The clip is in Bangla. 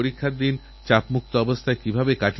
নরেন্দ্র মোদী অ্যাপএ তার ছবি অবশ্যই পাঠান